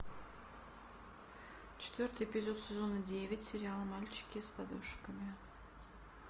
четвертый эпизод сезона девять сериала мальчики с подушками